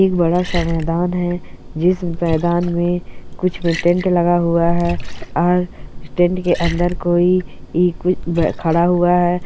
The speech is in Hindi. एक बड़ा सा मैदान है जिस मैदान में कुछ मै टेंट लगा हुआ है और टेंट के अन्दर कोई खड़ा हुआ है।